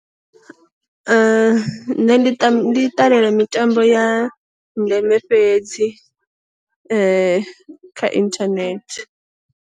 Nṋe ndi ṱam ndi ṱalela mitambo ya ndeme fhedzi kha inthanethe.